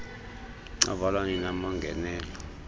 avalwa nini amangenelo